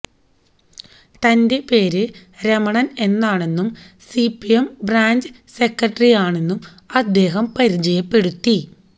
തന്റെ പേര് രമണൻ എന്നാണെന്നും സിപിഎം ബ്രാഞ്ച് സെക്രട്ടറിയാണെന്നും അദ്ദേഹം പരിചയപ്പെടുത്തി